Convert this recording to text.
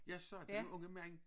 Jeg så denne unge mand